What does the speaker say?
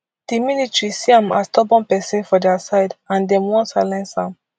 di military see am as stubborn pesin for dia side and dem wan silence am